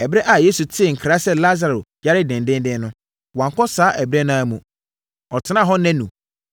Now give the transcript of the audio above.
Ɛberɛ a Yesu tee nkra sɛ Lasaro yare dendeenden no, wankɔ saa ɛberɛ no ara mu; ɔtenaa hɔ nnanu.